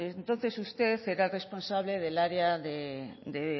entonces usted era el responsable del área de